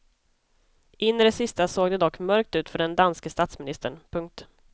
In i det sista såg det dock mörkt ut för den danske statsministern. punkt